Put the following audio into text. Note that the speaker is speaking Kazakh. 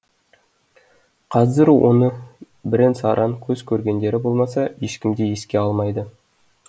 қазір оны бірен саран көз көргендері болмаса ешкім де еске алмайды